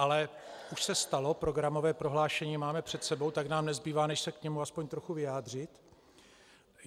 Ale už se stalo, programové prohlášení máme před sebou, tak nám nezbývá, než se k tomu aspoň trochu vyjádřit.